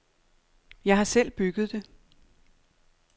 Jeg har selv bygget det.